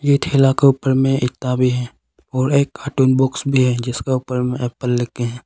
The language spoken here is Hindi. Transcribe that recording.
ये ठेला के ऊपर में एकता भी है और एक कार्टून बॉक्स भी है जिसका ऊपर में एप्पल लिख के है।